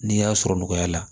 N'i y'a sɔrɔ nɔgɔya la